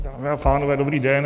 Dámy a pánové, dobrý den.